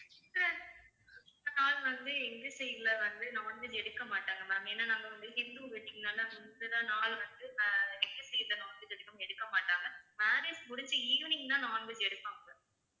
இத்தன நாள் வந்து எங்க side ல வந்து non veg எடுக்க மாட்டாங்க ma'am ஏன்னா நாங்க வந்து hindu wedding னால முந்தின நாள் வந்து ஆஹ் வந்து எடுக்க மாட்டாங்க marriage முடிஞ்சி evening தான் non veg எடுப்பாங்க